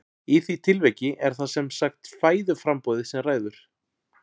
Í því tilviki er það sem sagt fæðuframboðið sem ræður.